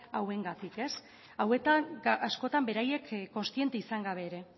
hauengatik hauetan askotan beraiek kontziente izan gabe ere